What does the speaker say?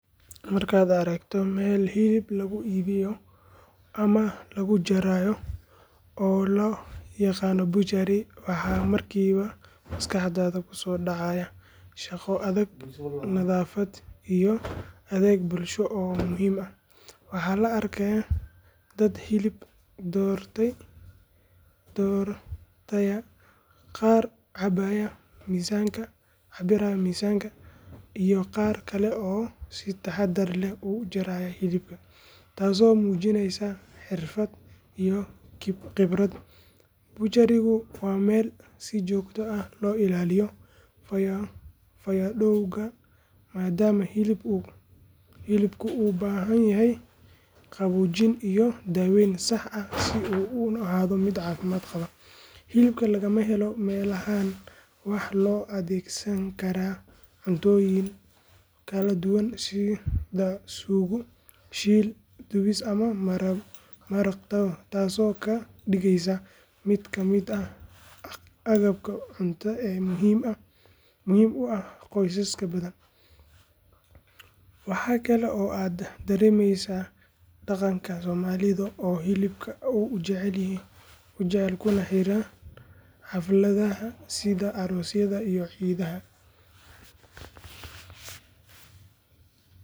Markaad aragto meel hilib lagu iibiyo ama lagu jarayo oo loo yaqaan butchery, waxa markiiba maskaxdaada ku soo dhacaya shaqo adag, nadaafad iyo adeeg bulsho oo muhiim ah. Waxaa la arkayaa dad hilib doortaya, qaar cabbaya miisaanka, iyo qaar kale oo si taxaddar leh u jaraya hilibka, taasoo muujinaysa xirfad iyo khibrad. Butcherygu waa meel si joogto ah loo ilaaliyo fayadhowrka maadaama hilibku u baahan yahay qaboojin iyo daaweyn sax ah si uu u ahaado mid caafimaad qaba. Hilibka laga helo meelahan waxaa loo adeegsan karaa cuntooyin kala duwan sida suugo, shiil, dubis ama maraq taasoo ka dhigaysa mid ka mid ah agabka cunto ee muhiimka u ah qoysas badan. Waxa kale oo aad dareemaysaa dhaqanka Soomaalida oo hilibka aad u jecel kuna xiran xafladaha sida aroosyada iyo ciidaha.